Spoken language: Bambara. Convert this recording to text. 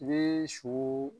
I bɛ su.